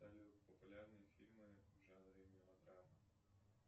салют популярные фильмы в жанре мелодрама